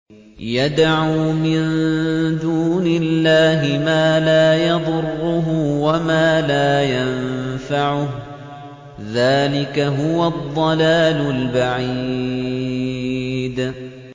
يَدْعُو مِن دُونِ اللَّهِ مَا لَا يَضُرُّهُ وَمَا لَا يَنفَعُهُ ۚ ذَٰلِكَ هُوَ الضَّلَالُ الْبَعِيدُ